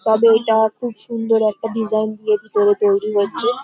তবে এটা খুব সুন্দর একটা ডিজাইন তৈরি হচ্ছে।